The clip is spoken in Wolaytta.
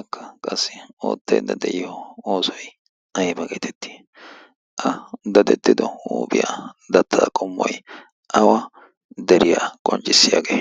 akka qassi oottayidda de7iyo oosoi aiba geetettii? a dadettido huuphiyaa dattaa qommoi awa deriyaa qonccissiyaagee?